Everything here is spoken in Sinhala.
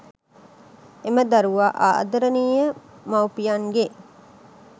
එම දරුවා ආදරණීය මවුපියන්ගේ්